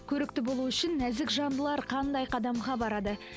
көрікті болу үшін нәзік жандылар қандай қадамға барады